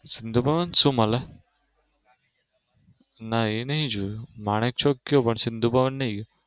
સિંધુ ભવન સુ મળે? ના એ નઈ જોયું માણેક ચોક ગયો પણ સિંધુ ભવન નઈ ગયો.